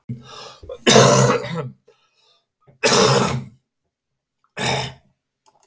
Þér skuluð ekki halda að yður verði sýnd nokkur minnsta miskunn.